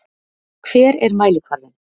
Hver er mælikvarðinn?